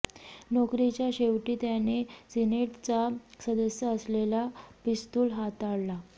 नोकरीच्या शेवटी त्याने सिनेटचा सदस्य असलेला पिस्तूल हाताळला